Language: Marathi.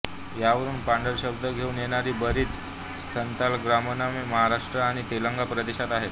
यावरून पांढर शब्द घेऊन येणारी बरीच स्थलग्रामनामे महाराष्ट्र आणि तेलंगाणा प्रदेशात आहेत